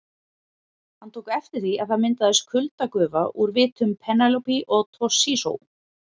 Hann tók eftir því að það myndaðist kuldagufa úr vitum Penélope og Toshizo.